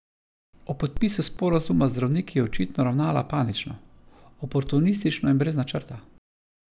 Ob podpisu sporazuma z zdravniki je očitno ravnala panično, oportunistično in brez načrta.